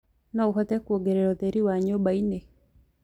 no uhote kuongereraũtherĩ wa nyumba ini